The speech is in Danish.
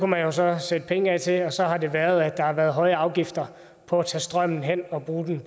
man jo så sætte penge af til og så har det været at der har været høje afgifter på at tage strømmen hen og bruge den